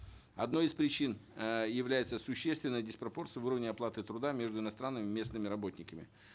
одной из причин э является существенная диспропорция в уровне оплаты труда между иностранными и местными работниками